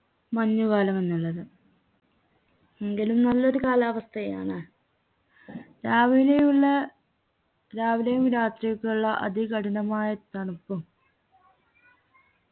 മഞ്ഞു കാലം എന്നുള്ളത് എങ്കിലും നല്ലൊരു കാലാവസ്ഥയാണ് രാവിലയിൽ രാവിലെയും രാത്രിയൊക്കെയുള്ള അതികഠിനമായ തണുപ്പും